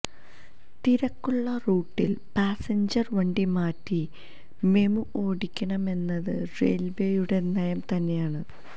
തിരക്കുള്ള റൂട്ടിൽ പാസഞ്ചർ വണ്ടി മാറ്റി മെമു ഓടിക്കണമെന്നത് റെയിൽവേയുടെ നയം തന്നെയാണ്